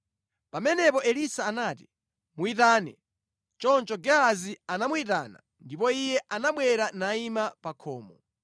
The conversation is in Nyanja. Pamenepo Elisa anati, “Muyitane.” Choncho Gehazi anamuyitana, ndipo iye anabwera nayima pa khomo.